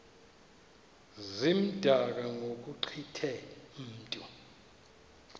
zimdaka ngokugqithe mntu